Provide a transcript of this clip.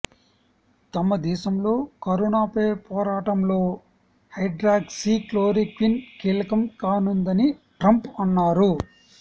తమ దేశంలో కరోనాపై పోరాటంలో హైడ్రాక్సీ క్లోరోక్విన్ కీలకం కానుందని ట్రంప్ అన్నారు